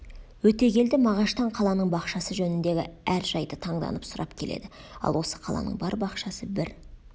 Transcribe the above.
өтегелді мағаштан қаланың бақшасы жөніндегі әр жайды таңданып сұрап келеді ал осы қаланың бар бақшасы бір